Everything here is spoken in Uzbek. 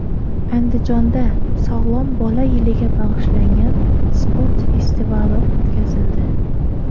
Andijonda Sog‘lom bola yiliga bag‘ishlangan sport festivali o‘tkazildi.